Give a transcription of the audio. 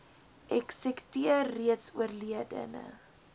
eksekuteur reeds oorledene